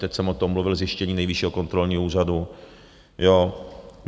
Teď jsem o tom mluvil zjištění Nejvyššího kontrolního úřadu.